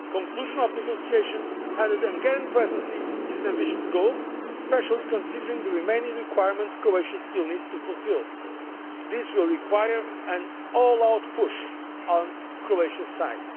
phase. Conclusion of negotiations under the Hungarian Presidency is an ambitious goal, especially considering the remaining requirements Croatia still needs to fulfil. This will require an all out push on Croatia's